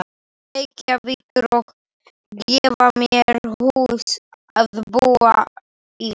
Reykjavíkur og gefa mér hús að búa í.